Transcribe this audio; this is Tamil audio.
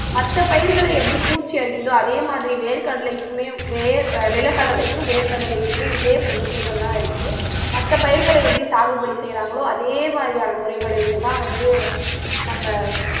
மத்த பயிர்களை எப்படி பூச்சி அரிக்குதோ அதே மாதிரி வேர்க்கடலைக்குமே வேர் அஹ் நிலக்கடலைக்கும் வேர்க்கடலைக்குமே இதே பிரச்சனைகள் எல்லாம் இருக்கு மத்த பயிர்களை எப்படி சாகுபடி செய்யறாங்களோ அதே மாதிரியான முறைகளையுமேதான் வந்து நம்ம